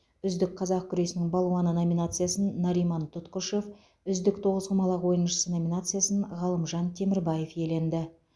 үздік қазақ күресінің балуаны номинациясын нариман тұтқышев үздік тоғызқұмалақ ойыншысы номинациясын ғалымжан темірбаев иеленді